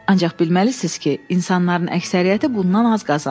Ancaq bilməlisiniz ki, insanların əksəriyyəti bundan az qazanır.